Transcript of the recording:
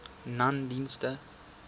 nonedienste